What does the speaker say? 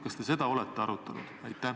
Kas te seda olete arutanud?